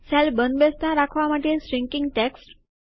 cell બંધ બેસતા રાખવા માટે શ્રીન્કીંગ ટેક્સ્ટ